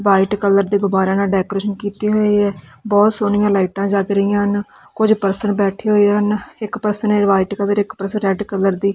white colour ਦੇ ਗੁਬਾਰਿਆਂ ਨਾਲ ਡੈਕੋਰੇਸ਼ਨ ਕੀਤੇ ਹੋਏ ਐ ਬਹੁਤ ਸੋਹਣੀਆਂ ਲਾਈਟਾਂ ਜਗ ਰਹੀਆਂ ਹਨ ਕੁਝ ਪਰਸਨ ਹੋਏ ਬੈਠੇ ਹੋਏ ਹਨ ਇੱਕ ਪਰਸਨ ਨੇ ਵਾਈਟ ਕਲਰ ਇੱਕ ਪਰਸਨ ਰੈਡ ਕਲਰ ਦੀ--